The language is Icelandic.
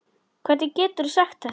Hvernig geturðu sagt þetta?